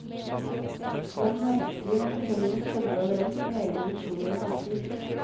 Det er merkelig når fortellingen stemmer overens med egne visjoner og tanker.